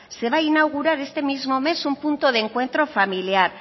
se va a inaugurar este mismo mes un punto de encuentro familiar